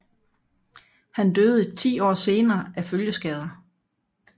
Han døde ti år senere af følgeskader